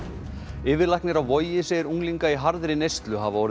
yfirlæknir á Vogi segir unglinga í harðri neyslu hafa orðið